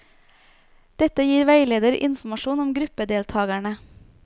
Dette gir veileder informasjon om gruppedeltakerne.